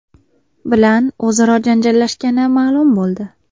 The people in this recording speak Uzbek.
bilan o‘zaro janjallashgani ma’lum bo‘ldi.